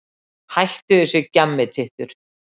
Hættu þessu gjammi, tittur.